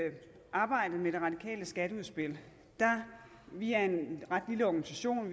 arbejdede med det radikale skatteudspil vi er en ret lille organisation